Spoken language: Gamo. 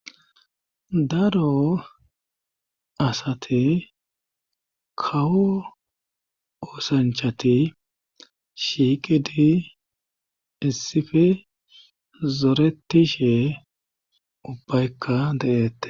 Daro asate kawo oosanchati shiiqidi issifi zoretishe ubbaykka de'eette